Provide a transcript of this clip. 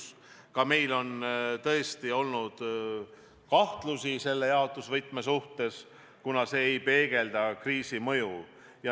Tõesti, ka meil on olnud selle jaotusvõtme suhtes kahtlusi, kuna see ei peegelda kriisi mõju.